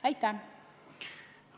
Aitäh!